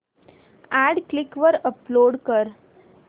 add Quikr वर upload कर